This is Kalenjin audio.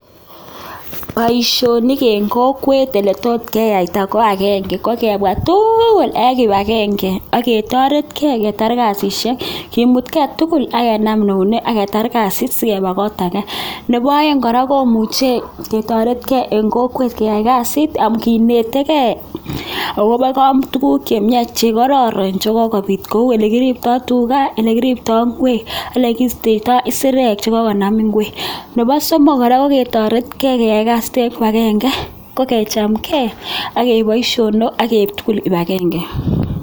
Boisionik eng kokwet ole tot keyaita ko agenge, ko kebwa tugul eng kibagenge ake toretkei ketar kasisiek ,kimutkei tuguk ak kenam eunek ake taar kasit sikeba kot ake. Nebo aeng kora, komuche ketoretkei eng kokwet keyai kasitab kinetekei akobo tuguk chemiach che karoron chekokopit cheu chekiriptoi tuga, ole kiriptoi ingwek, ole kiistoitoi isirek che kokonam ingwek. Nebo somok kora, koketoretkei keyai kasit eng kibagenge ko kechamkei akeip boisionok, akeip tugul kibagenge.